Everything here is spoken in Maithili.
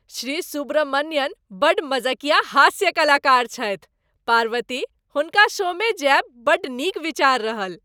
श्री सुब्रमण्यन बड्ड मजकिया हास्य कलाकार छथि। पार्वती, हुनका शोमे जायब बड्ड नीक विचार रहल।